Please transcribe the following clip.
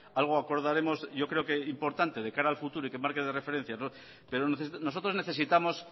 algo acordaremos yo creo que importante de cara al futuro y que marque de referencia pero nosotros necesitamos